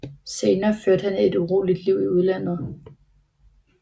Senere førte han et uroligt liv i udlandet